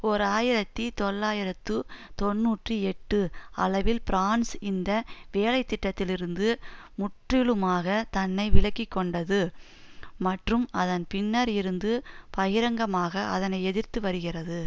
ஓர் ஆயிரத்தி தொள்ளாயிரத்து தொன்னூற்றி எட்டு அளவில் பிரான்ஸ் இந்த வேலை திட்டத்திலிருந்து முற்றிலுமாக தன்னை விலக்கி கொண்டது மற்றும் அதன் பின்னர் இருந்து பகிரங்கமாக அதனை எதிர்த்து வருகிறது